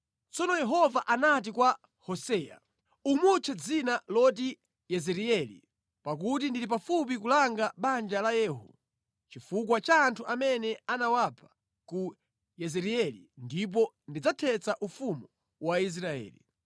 Tsono Yehova anati kwa Hoseya, “Umutche dzina loti Yezireeli, pakuti ndili pafupi kulanga banja la Yehu chifukwa cha anthu amene anawapha ku Yezireeli ndipo ndidzathetsa ufumu wa Israeli.